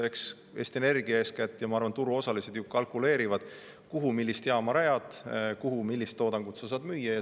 Eks Eesti Energia eeskätt ja muud turuosalised ju kalkuleerivad, kuhu millist jaama rajada, kuhu millist toodangut sa saad müüa.